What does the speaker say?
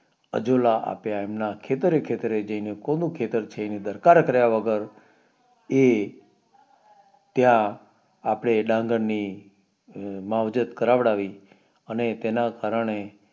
આજોલ આપ્યા એમના ખેતરે ખેતરે જઈને કોનું ખેતર છે એની દરકાર કાર્ય વગર એ ત્યાં અપને ડાંગર ની અ માવજત કરાવડાવી અને તેના કારણે